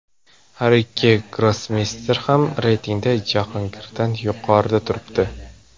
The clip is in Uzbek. Har ikki grossmeyster ham reytingda Jahongirdan yuqorida turibdi.